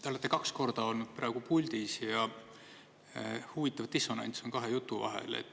Te olete kaks korda olnud praegu puldis ja huvitav dissonants on kahe jutu vahel.